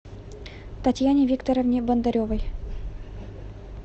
татьяне викторовне бондаревой